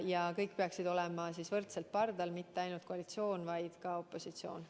Ja kõik peaksid olema võrdselt pardal – mitte ainult koalitsioon, vaid ka opositsioon.